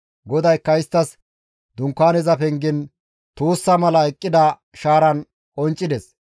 GODAYKKA isttas Dunkaaneza pengen tuussa mala eqqida shaaran qonccides.